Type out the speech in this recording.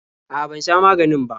A'a, ban sha maganina ba.